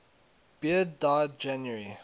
beard died january